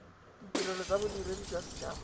ditirelo tsa bodiredi jwa bosethaba